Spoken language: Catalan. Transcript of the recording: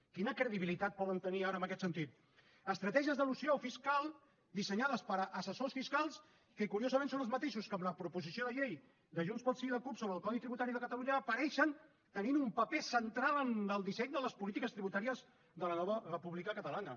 quina credibilitat poden tenir ara en aquest sentit estratègies d’elusió fiscal dissenyades per assessors fiscals que curiosament són els mateixos que en la proposició de llei de junts pel sí i la cup sobre el codi tributari de catalunya apareixen tenint un paper central en el disseny de les polítiques tributàries de la nova república catalana